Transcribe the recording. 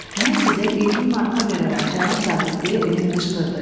Mən sizə 20 marka verərəm, cənab zabit, deyə Emil qışqırdı.